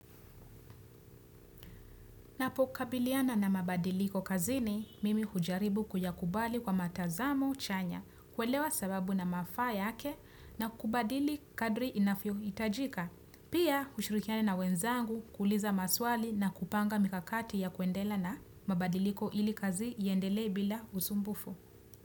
Napokabiliana na mabadiliko kazini mimi hujaribu kuyakubali kwa matazamo chanya kuelewa sababu na mafaa yake na kubadili kadri inafyohiitajika. Pia kushurikiani na wenzangu kuuliza maswali na kupanga mikakati ya kuendelea na mabadiliko ili kazi iendele bila usumbufu.